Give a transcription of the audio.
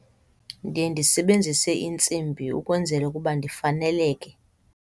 Ndiye ndisebenzise iintsimbi ukwenzela ukuba ndifaneleke.